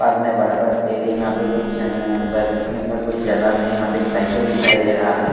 पास में बड़ा बड़ा पेड़ है यहाँ पे कुछ अः बसने का जगह है यह एप साइकिल दिखाई दे रहा है।